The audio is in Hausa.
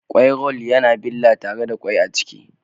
Kwai-roll yana billa tare da kwai a ciki